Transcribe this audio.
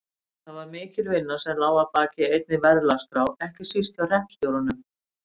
Það var mikil vinna sem lá að baki einni verðlagsskrá ekki síst hjá hreppstjórunum.